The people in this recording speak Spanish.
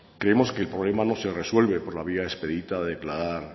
creemos que el problema no se resuelve por la vía expedita de declarar